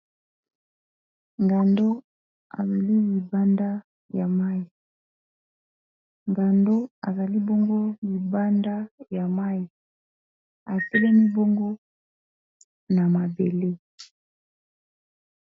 Ngando abimi libanda ya mai ngando azali bongo libanda ya mai atelemi bongo na mabele.